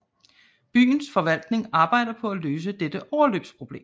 Byens forvaltning arbejder på at løse dette overløbsproblem